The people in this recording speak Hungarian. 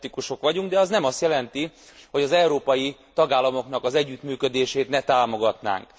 EU szkeptikusok vagyunk, de az nem azt jelenti, hogy az európai tagállamoknak az együttműködését ne támogatnánk.